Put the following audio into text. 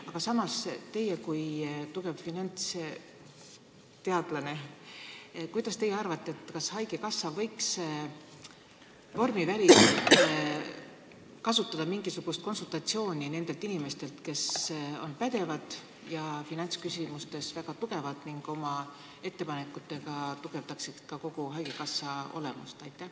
Aga kuidas arvate teie kui tugev finantsteadlane, kas haigekassa võiks vormiväliselt saada mingisugust konsultatsiooni nendelt inimestelt, kes on pädevad ja finantsküsimustes väga tugevad ning oma ettepanekutega tugevdaksid ka kogu haigekassa olemust?